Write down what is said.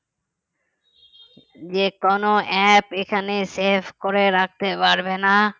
যে কোনো app এখানে save করে রাখতে পারবেনা